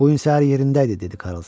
Bu gün səhər yerində idi, dedi Karlson.